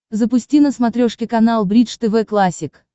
запусти на смотрешке канал бридж тв классик